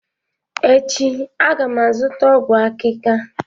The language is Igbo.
Echi, a ga m azụta ọgwụ akika